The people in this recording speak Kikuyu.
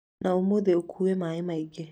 Na ũmũthĩ ũũke na maĩ mangĩ.